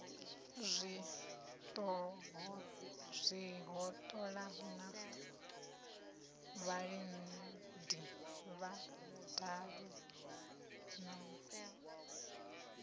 zwihoṱola na vhalidi vhadabe na